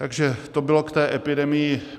Takže to bylo k té epidemii.